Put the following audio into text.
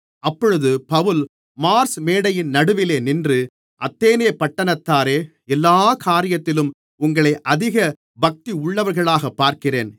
அப்பொழுது Paul Mars மேடையின் நடுவிலே நின்று அத்தேனே பட்டணத்தாரே எல்லாக் காரியத்திலும் உங்களை அதிக பக்தியுள்ளவர்களாகப் பார்க்கிறேன்